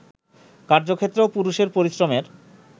কার্যক্ষেত্রেও পুরুষের পরিশ্রমের